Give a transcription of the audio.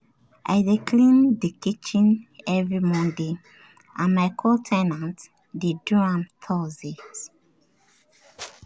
i dey clean the kitchen every monday and my co- ten ant dey do am thursdays.